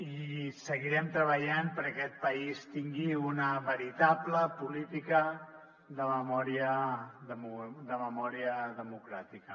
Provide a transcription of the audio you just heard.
i seguirem treballant perquè aquest país tingui una veritable política de memòria democràtica